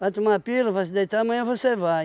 Vai tomar pílula, vai se deitar, amanhã você vai.